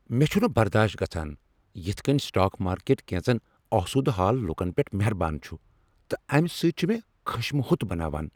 مے٘ چُھنہٕ برداشت گژھان یِتھ كٕنۍ سٹاک مارکیٹ كینژن آسودٕ حال لوکن پیٚٹھ مہربان چُھ تہٕ امہِ سۭتۍ چُھ مےٚ خشمہ ہوٚت بناوان ۔